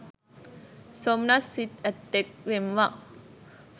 සොම්නස් සිත් ඇත්තෙක් වෙම් වා.